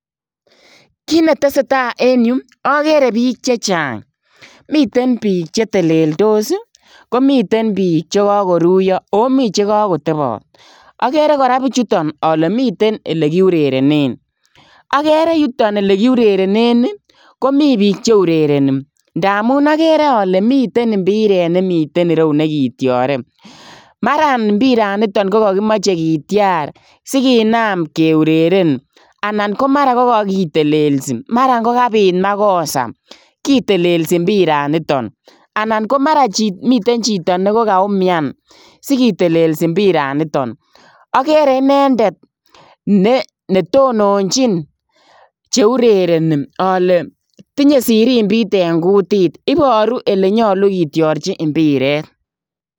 Kiit ne tesetai en Yuu agere biik chechaang miten biik che teleltos ii komiteen biik chekakoruyaa komii che kakotabaat agere kora bichutoon ale miten ole kiurerienen agere yutoon ole kiurerienen komii biik che urerenie ndamuun agere ale miten mpireet nekeurerenen ana ko nekityareen maran mpiraan nitoon ko kakimachei sikitiar siginaam keureren anan ko mara ko kakitelelsii mara ko kabiit makosa kitelesii mpiraan nitoon anan ko mara komiteen chitoo nekakaumian sikitelesi mpiraan nitoon agere inendet ne tononjiin che urerenie ale tinye sirimbiit en kutit ibaruu ole nyaluu kitiarjii mpireet.